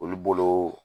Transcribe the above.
Olu bolo